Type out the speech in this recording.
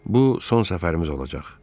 Bu son səfərimiz olacaq.